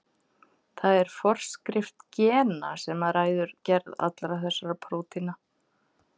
Það er forskrift gena sem ræður gerð allra þessara prótína.